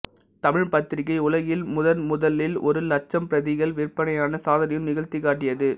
தமிழ்ப் பத்திரிக்கை உலகில் முதன் முதலில் ஒரு லட்சம் பிரதிகள் விற்பனையான சாதனையும் நிகழ்த்திக் காட்டியது